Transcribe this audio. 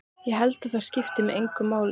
Ég held að það skipti engu máli.